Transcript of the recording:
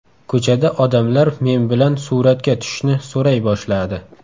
Ko‘chada odamlar men bilan suratga tushishni so‘ray boshladi.